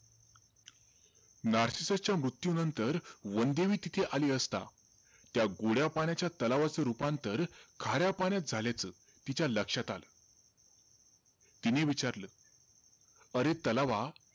नार्सिससच्या मृत्युनंतर वनदेवी तिथे आली असता, त्या गोड्या पाण्याच्या तलावाचं रूपांतर खाऱ्या पाण्यात झाल्याचं तिच्या लक्षात आलं. तिने विचारलं, अरे तलावा,